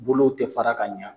Bolow tɛ fara ka ɲan.